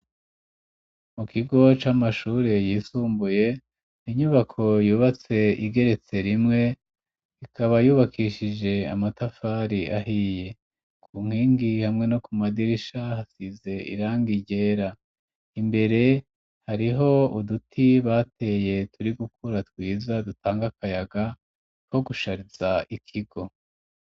Mu kigo c'amashuri yisumbuye inyubako yubatse igeretse rimwe, ikaba yubakishije amatafari ahiye. Ku nkingi hamwe no ku madirisha hasize iranga ryera. Imbere hariho uduti bateye turi gukura twiza, dutanga akayaga two gushariza ikigo.